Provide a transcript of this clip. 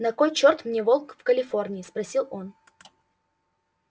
на кой чёрт мне волк в калифорнии спросил он